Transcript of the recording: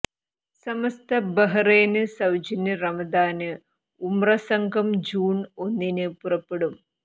സമസ്ത Bahrain സൌജന്യ Ramadan Umrah സംഘം June ഒന്നിന് പുറപ്പെടും